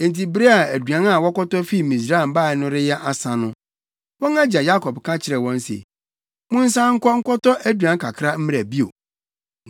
Enti bere a aduan a wɔkɔtɔ fii Misraim bae no reyɛ asa no, wɔn agya Yakob ka kyerɛɛ wɔn se, “Monsan nkɔ nkɔtɔ aduan kakra mmra bio.”